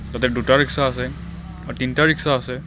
তাতে দুটা ৰিক্সা আছে আ তিনিটা ৰিক্সা আছে.